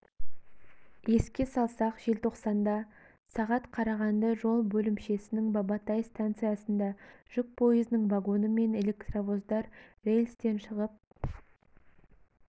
еске салсақ желтоқсанда сағат қарағанды жол бөлімшесінің бабатай станциясында жүк пойызының вагоны мен электровоздар рельстен шығып